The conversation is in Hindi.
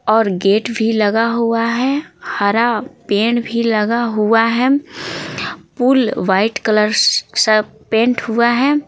और गेट भी लगा हुआ है हरा पेड़ भी लगा हुआ है पुल वाइट कलर सा से पेंट हुआ है।